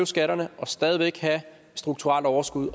skatterne og stadig væk have et strukturelt overskud